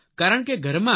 કારણ કે ઘરમાં